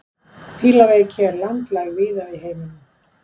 Fílaveiki er landlæg víða í heiminum.